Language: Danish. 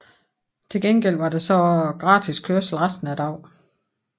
Til gengæld var der så gratis kørsel resten af dagen